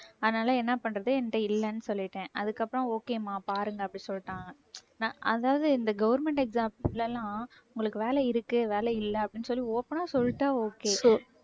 அதனால என்ன பண்றது என்கிட்ட இல்லைன்னு சொல்லிட்டேன். அதுக்கப்புறம் okay மா பாருங்க அப்படி சொல்லிட்டாங்க அதாவது இந்த government exams ல எல்லாம் உங்களுக்கு வேலை இருக்கு வேலை இல்லை அப்படின்னு சொல்லி open ஆ சொல்லிட்டா okay